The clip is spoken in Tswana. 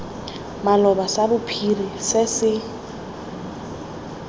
maloba sa bophiri se se